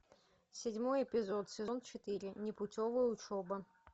седьмой эпизод сезон четыре непутевая учеба